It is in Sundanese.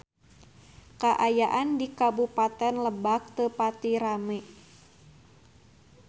Kaayaan di Kabupaten Lebak teu pati rame